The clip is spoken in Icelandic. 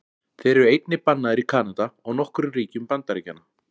Þeir eru einnig bannaðir í Kanada og nokkrum ríkjum Bandaríkjanna.